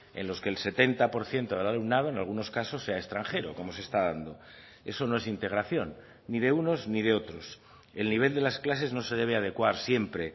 en los que el setenta por ciento del alumnado en algunos casos sea extranjero como se está dando eso no es integración ni de unos ni de otros el nivel de las clases no se debe adecuar siempre